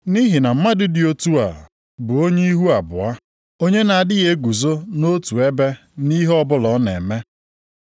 Nʼihi na mmadụ dị otu a bụ onye ihu abụọ, onye na-adịghị eguzo nʼotu ebe nʼihe ọbụla ọ na-eme.